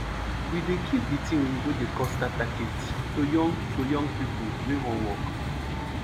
we dey give de tin oyibo dey call starter kit to young to young pipo wey wan work